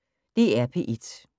DR P1